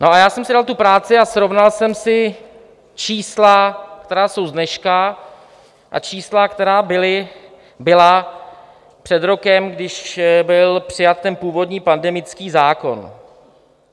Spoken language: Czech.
No, ale já jsem si dal tu práci a srovnal jsem si čísla, která jsou z dneška, a čísla, která byla před rokem, když byl přijat ten původní pandemický zákon.